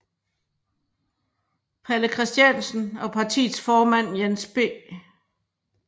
Palle Christiansen og partiets formand Jens B